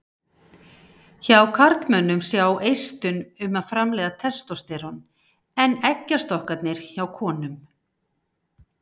Hjá karlmönnum sjá eistun um að framleiða testósterón en eggjastokkarnir hjá konum.